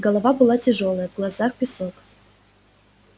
голова была тяжёлая в глазах песок